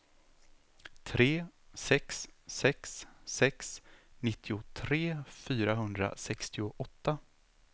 tre sex sex sex nittiotre fyrahundrasextioåtta